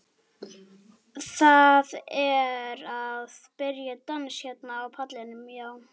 Það er að byrja dans hérna á pallinum, já.